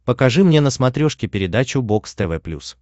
покажи мне на смотрешке передачу бокс тв плюс